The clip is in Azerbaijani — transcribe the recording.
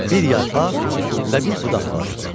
Bir yarpaq və bir budaq var idi.